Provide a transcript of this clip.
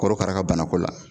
Korokara ka banako la